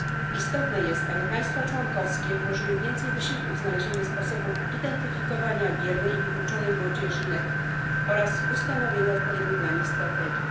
Istotne jest, aby państwa członkowskie włożyły więcej wysiłku w znalezienie sposobów identyfikowania biernej i wykluczonej młodzieży NEET oraz ustanowienie odpowiednich dla nich strategii.